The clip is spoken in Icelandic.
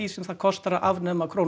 sem kostar að afnema krónu